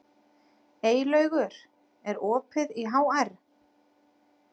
Eylaugur, er opið í HR?